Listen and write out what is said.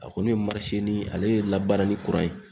A kɔni ye ale ye labarani ye